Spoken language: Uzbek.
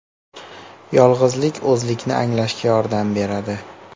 Yolg‘izlik o‘zlikni anglashga yordam beradi.